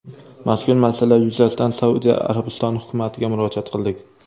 Mazkur masala yuzasidan Saudiya Arabistoni hukumatiga murojaat qildik.